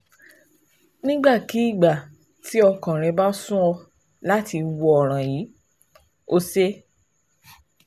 Nígbàkigbà tí ọkàn rẹ bá sún ọ láti wo ọ̀ràn yìí, o ṣe é